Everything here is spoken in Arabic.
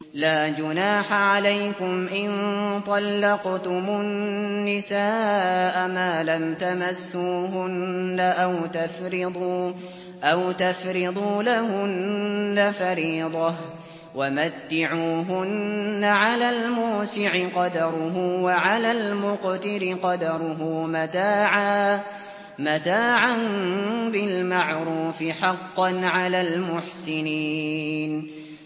لَّا جُنَاحَ عَلَيْكُمْ إِن طَلَّقْتُمُ النِّسَاءَ مَا لَمْ تَمَسُّوهُنَّ أَوْ تَفْرِضُوا لَهُنَّ فَرِيضَةً ۚ وَمَتِّعُوهُنَّ عَلَى الْمُوسِعِ قَدَرُهُ وَعَلَى الْمُقْتِرِ قَدَرُهُ مَتَاعًا بِالْمَعْرُوفِ ۖ حَقًّا عَلَى الْمُحْسِنِينَ